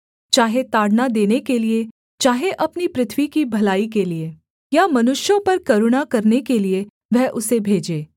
चाहे ताड़ना देने के लिये चाहे अपनी पृथ्वी की भलाई के लिये या मनुष्यों पर करुणा करने के लिये वह उसे भेजे